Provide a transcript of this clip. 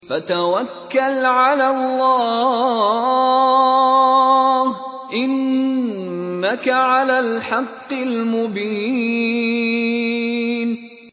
فَتَوَكَّلْ عَلَى اللَّهِ ۖ إِنَّكَ عَلَى الْحَقِّ الْمُبِينِ